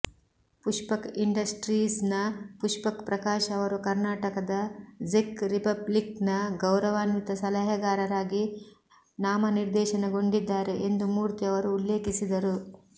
ಪುಷ್ಪಕ್ ಇಂಡಸ್ಟ್ರೀಸ್ನ ಪುಷ್ಪಕ್ ಪ್ರಕಾಶ್ ಅವರು ಕರ್ನಾಟಕದ ಝೆಕ್ ರಿಪಬ್ಲಿಕ್ನ ಗೌರವಾನ್ವಿತ ಸಲಹೆಗಾರರಾಗಿ ನಾಮನಿರ್ದೇಶನಗೊಂಡಿದ್ದಾರೆ ಎಂದು ಮೂರ್ತಿ ಅವರು ಉಲ್ಲೇಖಿಸಿದರು